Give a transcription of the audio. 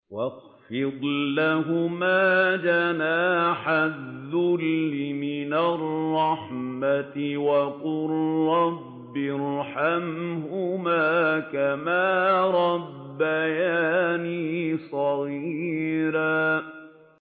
وَاخْفِضْ لَهُمَا جَنَاحَ الذُّلِّ مِنَ الرَّحْمَةِ وَقُل رَّبِّ ارْحَمْهُمَا كَمَا رَبَّيَانِي صَغِيرًا